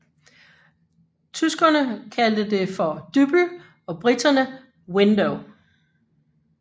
Tyskerne kaldte det for Düppel og briterne Window